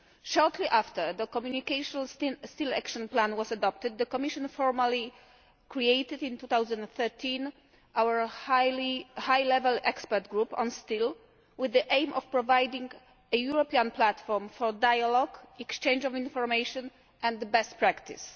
Shortly after the Communication on the Steel Action Plan was adopted, the Commission formally created in 2013 our High Level Expert Group on Steel, with the aim of providing a European platform for dialogue, exchange of information and best practice.